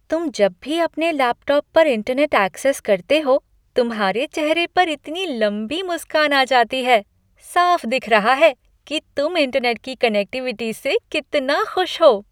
तुम जब भी अपने लैपटॉप पर इंटरनेट ऐक्सेस करते हो, तुम्हारे चेहरे पर इतनी लंबी मुस्कान आ जाती है। साफ दिख रहा है कि तुम इंटरनेट की कनेक्टिविटी से कितना खुश हो!